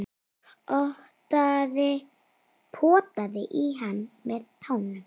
Potaði í hann með tánum.